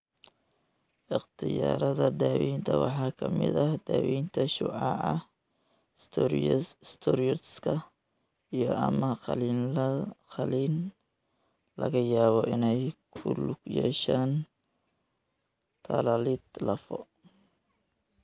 Ikhtiyaarada daawaynta waxaa ka mid ah daawaynta shucaaca, steroidska, iyo/ama qalliin laga yaabo inay ku lug yeeshaan tallaalid lafo.